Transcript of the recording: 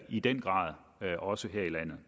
i den grad også her i landet